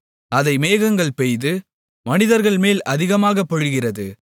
அதை மேகங்கள் பெய்து மனிதர்கள் மேல் அதிகமாகப் பொழிகிறது